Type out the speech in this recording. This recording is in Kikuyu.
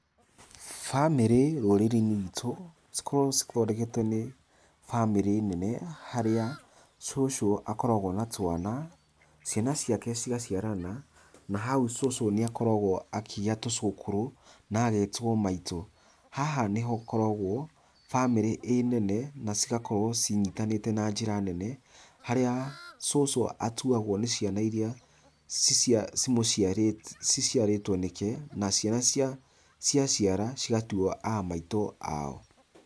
Bamĩrĩ rũrĩrĩ-inĩ rwitũ, cikoragwo cithondeketwo nĩ bamĩrĩ nene, harĩa cũcũ akoragwo na twana, ciana ciake cigaciarana, na hau cũcũ nĩ akoragwo akĩgĩa tũcũkũrũ, na agetwo maitũ. Haha nĩhakoragwo bamĩrĩ ĩ nene na cigakorwo cinyitanĩte na njĩra nene, harĩa cũcũ atuagwo nĩ ciana iria ciciarĩtwo nĩke, na ciana ciaciara cigatua a maitũ ao